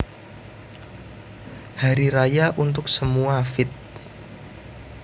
Hari Raya Untuk Semua feat